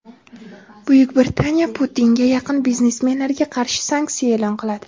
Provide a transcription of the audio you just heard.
Buyuk Britaniya "Putinga yaqin" biznesmenlarga qarshi sanksiya e’lon qiladi.